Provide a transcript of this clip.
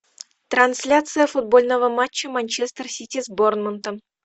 трансляция футбольного матча манчестер сити с борнмутом